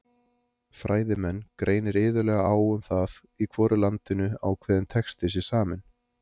Fræðimenn greinir iðulega á um það í hvoru landinu ákveðinn texti sé saminn.